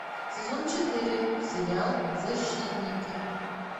сезон четыре сериал защитники